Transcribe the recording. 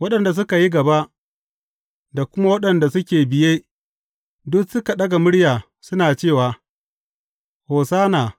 Waɗanda suka yi gaba, da kuma waɗanda suke biye, duk suka ɗaga murya, suna cewa, Hosanna!